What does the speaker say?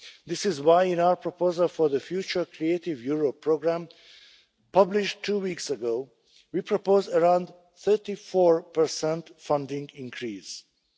we have to do more. This is why, in our proposal for the future Creative Europe programme published two weeks ago, we propose a funding